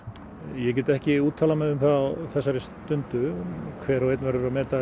ég get ekki úttalað mig um það á þessari stundu hver og einn verður að meta